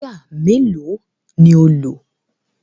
Wáyà mélòó ni ó lò?